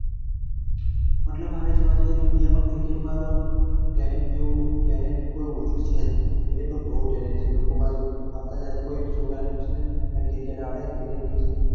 મતલબ હવે જોવા જઈએ તો india માં cricket માં તો talent જેવુ talent કોઈ ઓછું છે જ નઈ. cricket માં બોવ talent છે લોકો પાસે જોઈએ તો cricket કોઈ પણ છોકરાને પૂછને cricket આવડે cricket જોઈ છે.